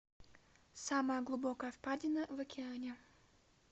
самая глубокая впадина в океане